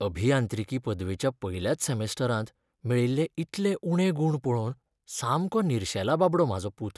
अभियांत्रिकी पदवेच्या पयल्याच सॅमिस्टरांत मेळिल्ले इतले उणे गूण पळोवन सामको निर्शेला बाबडो म्हाजो पूत.